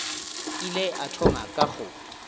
ile a thoma ka go